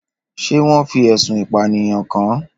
Ṣé wọ́n fi ẹ̀sùn ìpànìyàn kàn án?